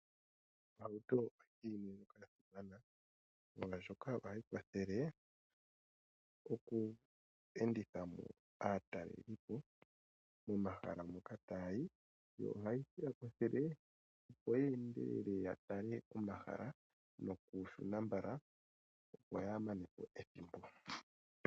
Ohauto oya simana molwashoka ohayi kwathele oku enditha aatalelipo momahala moka taya yi, yo ohayi ya kwathele opo ye endelele ya tale omahala nokushuna mbala, opo yaa mane po ethimbo.